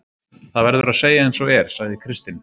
Það verður að segja eins og er, sagði Kristinn.